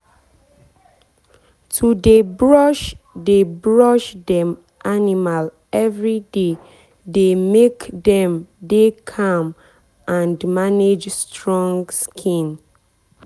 to dey brush dey brush dem animal everyday dey make dem dey calm and manage strong skin.